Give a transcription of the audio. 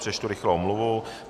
Přečtu rychle omluvu.